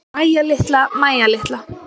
Mæja litla, Mæja litla.